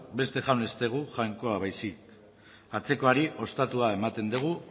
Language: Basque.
beste jaun ez dugu jainkoa baizik atzekoari ostatua ematen diegu